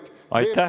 VEB Fondi raha?